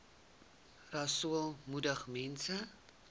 rasool moedig mense